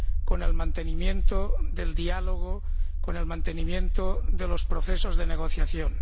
con el mantenimiento del diálogo, con el mantenimiento de los procesos de negociación.